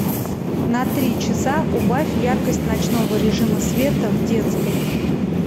на три часа убавь яркость ночного режима света в детской